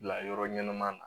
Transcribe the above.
Bila yɔrɔ ɲɛnama na